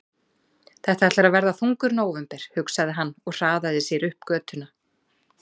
Þetta ætlar að verða þungur nóvember, hugsaði hann og hraðaði sér upp götuna.